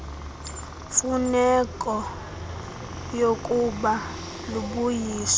mfuneko yookuba lubuyiswe